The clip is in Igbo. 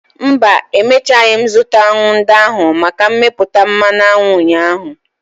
Mba, emechaghị m zụta aṅụ ndị ahụ maka mmepụta mmanụ aṅụ ụnyaahụ.